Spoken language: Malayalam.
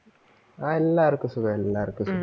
ആ എല്ലാർക്കും സുഖം, എല്ലാർക്കും സുഖം.